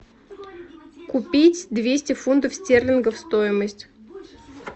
купить двести фунтов стерлингов стоимость